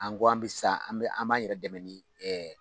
An ko an bɛ sa an bɛ an b'an yɛrɛ dɛmɛ ni